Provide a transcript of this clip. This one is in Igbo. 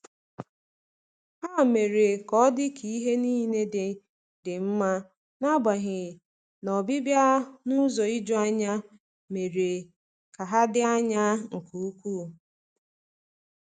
Ha mere ka ọdị ka ihe niile dị dị mma, n'agbanyeghi na ọbịbịa n’ụzọ ijuanya mere ka ha dị anya nke ukwuu.